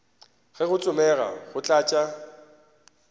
ge go tsomega go tlatša